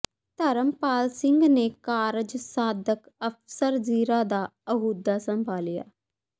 ਧਰਮਪਾਲ ਸਿੰਘ ਨੇ ਕਾਰਜ ਸਾਧਕ ਅਫ਼ਸਰ ਜ਼ੀਰਾ ਦਾ ਅਹੁਦਾ ਸੰਭਾਲਿਆ